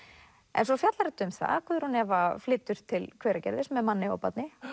en svo fjallar þetta um það að Guðrún Eva flytur til Hveragerðis með manni og barni